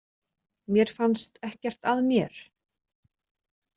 Mér fannst ekkert að mér.